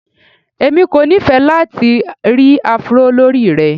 Èmi kò nifẹ́ lati ri Afro lórí rẹ.